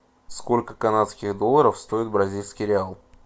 сколько канадских долларов стоит бразильский реал